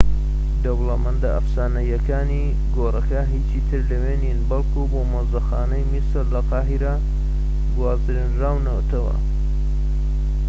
دەوڵەمەندە ئەفسانەییەکانی گۆڕەکە هیچی تر لەوێ نین بەڵکو بۆ مۆزەخانەی میسر لە قاهیرە گوێزراونەتەوە